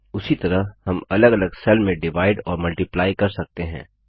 उसी तरह हम अलग अलग सेल में डिवाइड और मल्टिप्लाइ कर सकते हैं